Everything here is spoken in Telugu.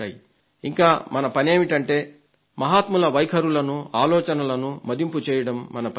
ఇంకా మన పనేమిటంటే మహాత్ముల వైఖరులను ఆలోచనలను మదింపు చేయడం మన పని కాదు